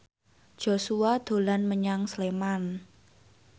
Joshua dolan menyang Sleman